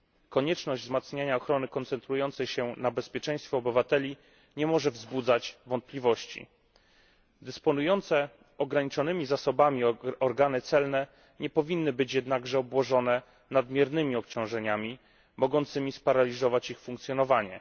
Konieczność wzmacniania ochrony koncentrującej się na bezpieczeństwie obywateli nie może wzbudzać wątpliwości. Dysponujące ograniczonymi zasobami organy celne nie powinny być jednakże obłożone nadmiernymi obciążeniami mogącymi sparaliżować ich funkcjonowanie.